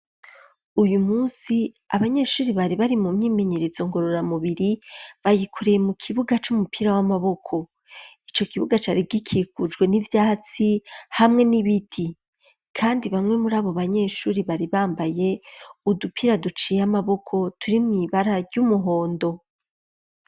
Uyu munsi abanyeshure bari bari mu myimenyerezo ngorora mubiri, bayikoreye mu kibuga c'umupira w'amaboko. Ico kibuga cari gikikujwe n'ivyatsi hamwe n'ibiti kandi bamwe muri abo banyeshure bari bambaye udupira duciye amaboko turi mw'ibara ry'umuhondo.